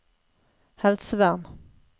helsevern